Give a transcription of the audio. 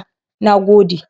a wasu yankuna musamman Asia.